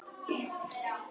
Tjaldið þeirra var hvítt.